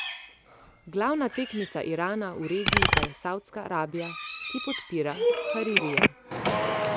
Glavna tekmica Irana v regiji pa je Savdska Arabija, ki podpira Haririja.